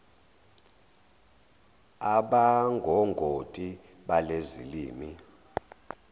abangongoti balezi zilimi